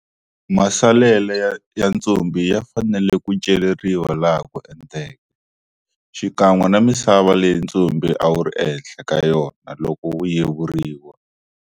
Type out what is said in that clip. Masalelo va ntsumbu ya fanele ku celeriwa laha ku enteke, xikan'we na misava leyi ntsumbu a wu ri ehenhla ka yona loko wu yevuriwa.